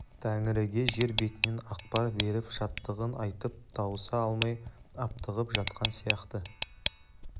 тәңіріге жер бетінен ақпар беріп шаттығын айтып тауыса алмай аптығып жатқан сияқты